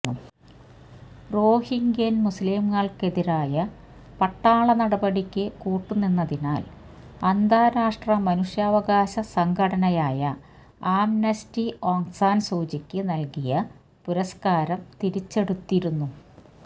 റോഹിങ്ക്യൻ മുസ്ലീമുകൾക്കെതിരായ പട്ടാളനടപടിക്ക് കൂട്ടുനിന്നതിനാൽ അന്താരാഷ്ട്രമനുഷ്യാവകാശ സംഘടനയായ ആംനസ്റ്റി ഓങ്സാൻ സൂചിക്ക് നൽകിയ പുരസ്കാരം തിരിച്ചെടുത്തിരുന്നു